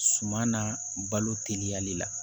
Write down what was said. Suman na balo teliyali la